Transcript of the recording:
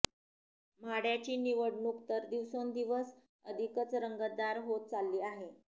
माढ्याची निवडणूक तर दिवसेंदिवस अधिकच रंगतदार होत चालली आहे